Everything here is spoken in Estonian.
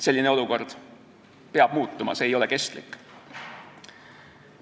Selline olukord peab muutuma, see ei ole kestlik.